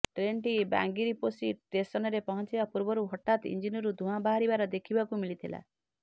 ଟ୍ରେନ୍ଟି ବାଙ୍ଗିରିପୋଷି ଷ୍ଟେସନ୍ରେ ପହଞ୍ଚିବା ପୂର୍ବରୁ ହଠାତ୍ ଇଞ୍ଜିନରୁ ଧୂଆଁ ବାହାରିବାର ଦେଖିବାକୁ ମିଳିଥିଲା